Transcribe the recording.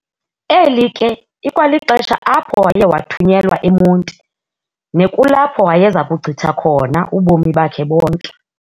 Eli ke ikwalixesha apho waye wathunyelwa eMonti, nekulapho wayeza kuchitha khona ubomi bakhe bonke.